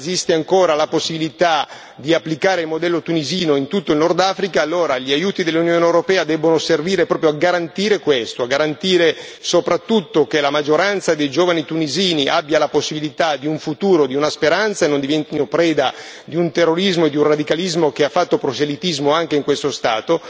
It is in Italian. Esiste ancora la possibilità di applicare il modello tunisino in tutto il Nord Africa allora gli aiuti dell'Unione europea devono servire proprio a garantire questo, a garantire soprattutto che la maggioranza dei giovani tunisini abbia la possibilità di un futuro, di una speranza, che non diventino preda di un terrorismo e di un radicalismo che hanno fatto proselitismo anche in questo Stato,